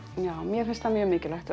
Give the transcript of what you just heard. mér finnst það mjög mikilvægt